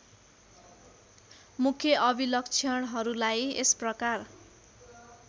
मुख्य अभिलक्षणहरूलाई यसप्रकार